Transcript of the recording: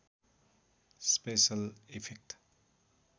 special effect